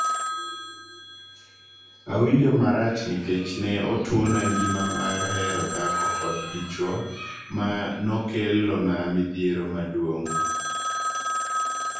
"Awinjo marach nikech ne otuona ngima mar hero dhako kod dichuo ma nokelona midhiero maduong